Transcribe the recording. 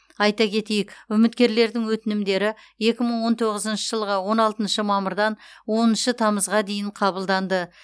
айта кетейік үміткерлердің өтінімдері екі мың он тоғызыншы жылғы он алтыншы мамырдан оныншы тамызға дейін қабылданды